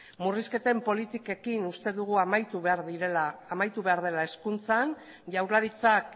murrizketen politikekin uste dugu amaitu behar dela hezkuntzan jaurlaritzak